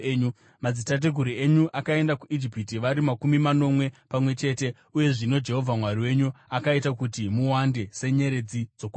Madzitateguru enyu akaenda kuIjipiti vari makumi manomwe pamwe chete, uye zvino Jehovha Mwari wenyu akaita kuti muwande senyeredzi dzokudenga.